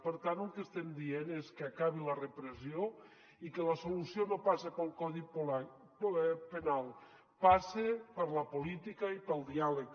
per tant el que estem dient és que acabi la repressió i que la solució no passa pel codi penal passa per la política i pel diàleg